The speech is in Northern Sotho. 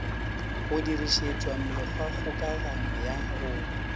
go dirišetšwa mekgwakgokagano ya go